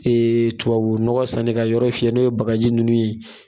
tubabu nɔgɔ sanni ka yɔrɔ fiyɛ n'o ye bagaji nunnu ye